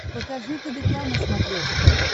покажи тдк на смотрешке